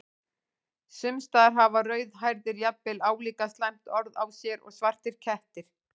Sums staðar hafa rauðhærðir jafnvel álíka slæmt orð á sér og svartir kettir.